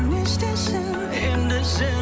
не істейсің енді сен